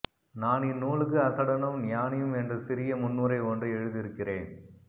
நான் இந்நூலுக்கு அசடனும் ஞானியும் என்ற சிறிய முன்னுரை ஒன்றை எழுதியிருக்கிறேன்